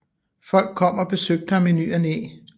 Folk kom og besøgte ham i ny og næ